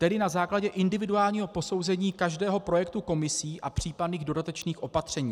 Tedy na základě individuálního posouzení každého projektu Komisí a případných dodatečných opatření.